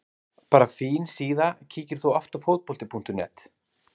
Bara fín síða Kíkir þú oft á Fótbolti.net?